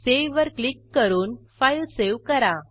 सेव्हवर click करून file save करा